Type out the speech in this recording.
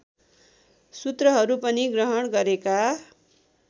सूत्रहरू पनि ग्रहण गरेका